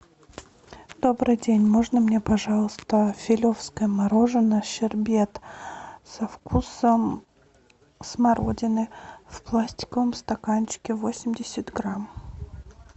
добрый день можно мне пожалуйста филевское мороженое щербет со вкусом смородины в пластиковом стаканчике восемьдесят грамм